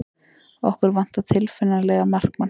Okkur vantar tilfinnanlega markmann.